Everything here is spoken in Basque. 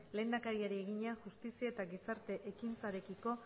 lehendakariari egina justizia eta gizarte ekintzarekiko